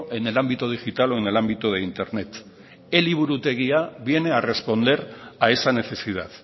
en el ámbito digital o en el ámbito de internet eliburutegia viene a responder a esa necesidad